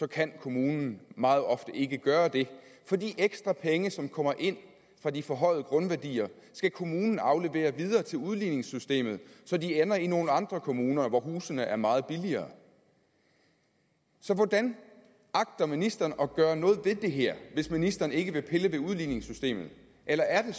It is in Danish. kan kommunen meget ofte ikke gøre det for de ekstra penge som kommer ind fra de forhøjede grundværdier skal kommunen aflevere videre til udligningssystemet så de ender i nogle andre kommuner hvor husene er meget billigere så hvordan agter ministeren at gøre noget ved det her hvis ministeren ikke vil pille ved udligningssystemet eller er det